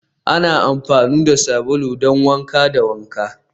ana amfani da sabulu don wanka da wanka